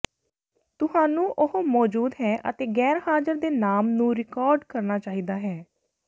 ਤੁਹਾਨੂੰ ਉਹ ਮੌਜੂਦ ਹੈ ਅਤੇ ਗੈਰਹਾਜ਼ਰ ਦੇ ਨਾਮ ਨੂੰ ਰਿਕਾਰਡ ਕਰਨਾ ਚਾਹੀਦਾ ਹੈ